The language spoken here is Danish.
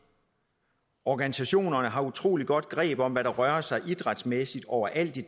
organisationerne har utrolig godt greb om hvad der rører sig idrætsmæssigt overalt i